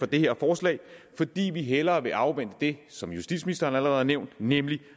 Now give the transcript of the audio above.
det her forslag fordi vi hellere vil afvente det som justitsministeren allerede har nævnt nemlig